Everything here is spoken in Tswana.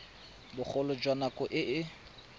bogolo jwa nako e e